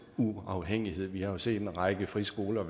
uafhængighed vi har jo set at en række friskoler